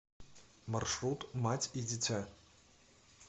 маршрут мать и дитя